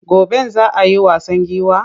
Goben za a yi wasan giwa?